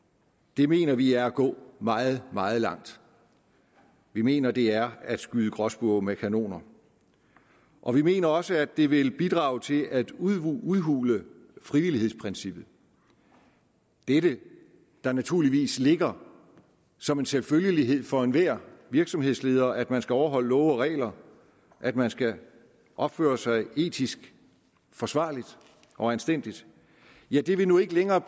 det mener vi er at gå meget meget langt vi mener det er at skyde gråspurve med kanoner og vi mener også at det vil bidrage til at udhule udhule frivillighedsprincippet dette der naturligvis ligger som en selvfølgelighed for enhver virksomhedsleder nemlig at man skal overholde love og regler at man skal opføre sig etisk forsvarligt og anstændigt ja det vil nu ikke længere